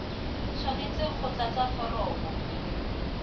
tshwanetse go tlatsa foromo c